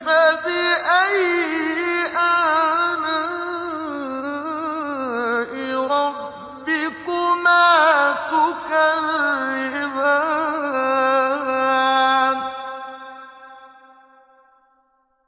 فَبِأَيِّ آلَاءِ رَبِّكُمَا تُكَذِّبَانِ